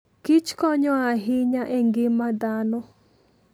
kich konyo ahinya e ngima dhano.